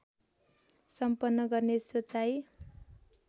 सम्पन्न गर्ने सोचाइ